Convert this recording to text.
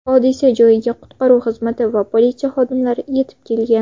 Hodisa joyiga qutqaruv xizmati va politsiya xodimlari yetib kelgan.